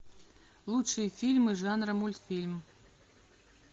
лучшие фильмы жанра мультфильм